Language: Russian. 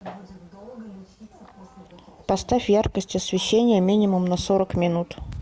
поставь яркость освещения минимум на сорок минут